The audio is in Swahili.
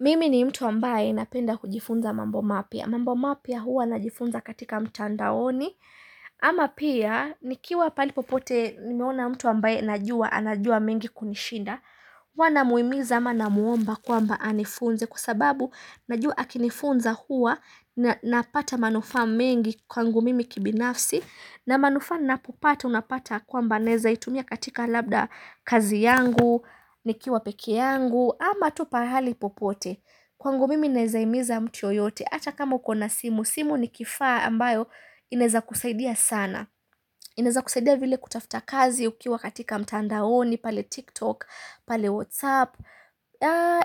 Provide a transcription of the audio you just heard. Mimi ni mtu ambaye napenda kujifunza mambo mapya. Mambo mapya huwa najifunza katika mtandaoni. Ama pia nikiwa pahali popote nimeona mtu ambaye najua anajua mengi kunishinda. Huwanamuhimiza ama namuomba kwamba anifunze kwa sababu najua akinifunza huwa na napata manufa mingi kwangu mimi kibinafsi. Na manufaa ninapopata unapata kwamba naweza itumia katika labda kazi yangu, nikiwa peke yangu. Ama tu pahali popote kwangu mimi ninaweza himiza mtu yeyote ata kama ukona simu simu ni kifaa ambayo inaweza kusaidia sana inaweza kusaidia vile kutafuta kazi ukiwa katika mtandaoni pale tiktok, pale whatsapp